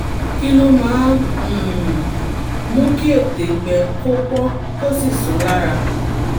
kí ló máa ń um mú kí ètè gbẹ kó pọ́n kó sì sán lára?